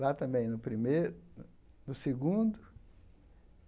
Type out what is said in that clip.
Lá também, no prime, no segundo.